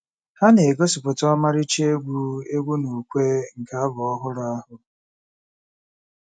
Ha na-egosipụta ọmarịcha egwu egwu na ukwe nke abụ ọhụrụ ahụ.